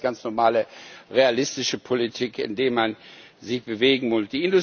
Ich glaube, es ist ganz normale realistische Politik, indem man sich bewegen muss.